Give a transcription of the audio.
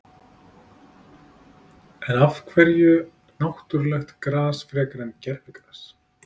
En af hverju náttúrulegt gras frekar en gervigras?